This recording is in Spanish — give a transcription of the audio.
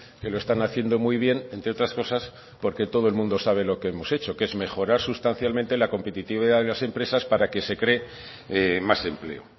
que lo están haciendo muy bien entre otras cosas porque todo el mundo sabe lo que hemos hecho que es mejorar sustancialmente la competitividad de las empresas para que se cree más empleo